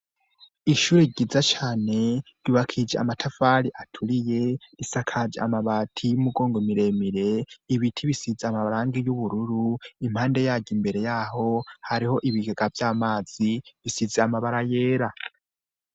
Ishuri ryiza cane yubakije amatafali aturiye isakaje amabati y'umugongo miremire ibiti bisize amabarangi y'ubururu impande yaju imbere yaho hariho ibigega vy'amazi bisize amabara yera.